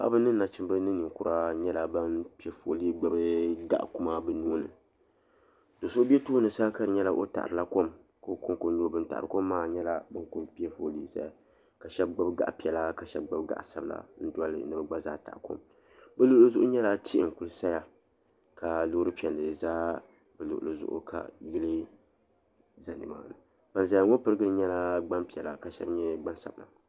Paɣaba ni nachimba ni ninkura nyɛla ban piɛ foolii gbibi gaɣa kuma bɛ nuhini so'sbe tooni sa ka di nyɛla o taɣarila kom ka o konko n nyɛ o ban taɣirili maa nyɛla bin kuli toolii zaya ma sheba gbibi gaɣa piɛla ka sheba gbibi gaɣa sabila n doli ni bɛ gna zaa taɣi kom bɛ luɣuli zuɣu nyɛla tihi n kuli saya ka loori piɛlli za di luɣuli zuɣu ka yili za nimani ban zaya ŋɔ pirigili nyɛla gbampiɛla ka sheba nyɛ gbansabila.